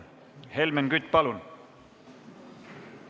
Helmen Kütt, palun!